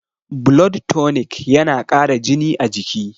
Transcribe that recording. blood tonic yana Kara jini a jiki